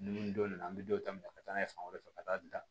Dumuni donna an be don ta minɛ ka taa n'a ye fan wɛrɛ fɛ ka taa